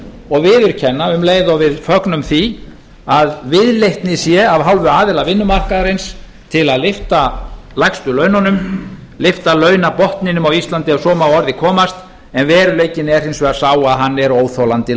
og viðurkenna um leið og við fögnum því að viðleitni sé af hálfu aðila vinnumarkaðarins til að lyfta lægstu laununum eyða launabotninum á íslandi ef svo má að orði komast en veruleikinn er hins vegar sá að hann er óþolandi lágur